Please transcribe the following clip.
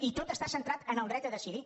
i tot està centrat en el dret a decidir